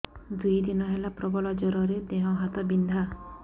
ଦୁଇ ଦିନ ହେଲା ପ୍ରବଳ ଜର ଦେହ ହାତ ବିନ୍ଧା